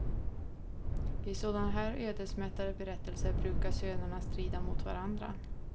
I sådana här ödesmättade berättelser brukar sönerna strida mot varandra.